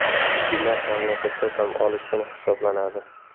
Juma mamlakatda dam olish kuni hisoblanadi.